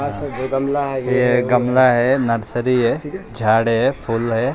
पे दो गमला है ये गमला है नर्सरी है झाड़ है फूल है ।